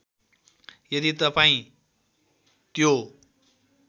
यदि तपाईँं त्यो